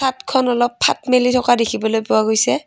চাদখন অলপ ফাঁত মেলি থকা দেখিবলৈ পোৱা গৈছে।